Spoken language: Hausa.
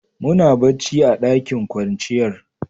Muna bacci a ɗakin kwanciyar.